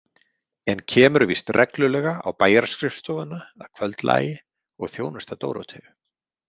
En kemur víst reglulega á bæjarskrifstofuna að kvöldlagi og þjónustar Dóróteu.